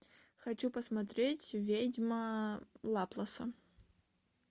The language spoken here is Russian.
хочу посмотреть ведьма лапласа